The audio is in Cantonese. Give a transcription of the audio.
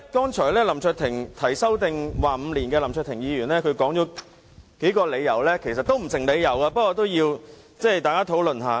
提出將有效期延至5年的林卓廷議員，剛才舉出數個理由，其實全部都不成立，我想與大家討論一下。